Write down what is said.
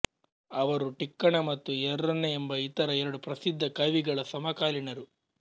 ಅವರು ಟಿಕ್ಕಣ ಮತ್ತು ಎರ್ರನ ಎಂಬ ಇತರ ಎರಡು ಪ್ರಸಿದ್ಧ ಕವಿಗಳ ಸಮಕಾಲೀನರು